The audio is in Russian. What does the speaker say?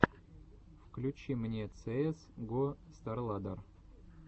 включи мне цеэс го старладдер